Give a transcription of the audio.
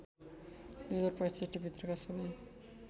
२०६५ भित्रका सबै